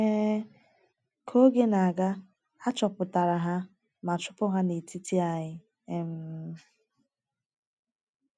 um Ka oge na - aga, a chọpụtara ha ma chụpụ ha n’etiti anyị. um